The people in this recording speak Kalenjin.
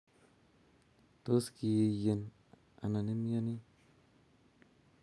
tos kiiyen anan imnyoni?